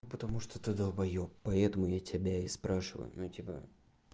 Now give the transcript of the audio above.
потому что ты долбаеб поэтому я тебя и спрашиваю ну типа